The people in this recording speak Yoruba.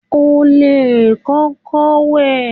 O lè kókó wẹ̀.